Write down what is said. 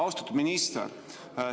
Austatud minister!